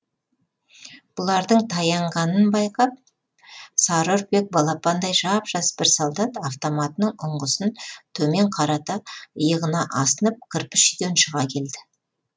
бұлардың таянғанын байқап сары үрпек балапандай жап жас бір солдат автоматының ұңғысын төмен қарата иығына асынып кір кірпіш